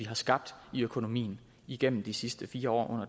har skabt i økonomien igennem de sidste fire år